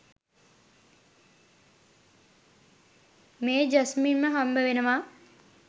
මේ ජස්මින්ව හම්බවෙනවා.